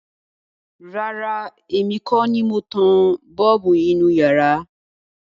Rárá, èmi kọ́ ni mo tan bọ́ọ̀bù inú iyàrá.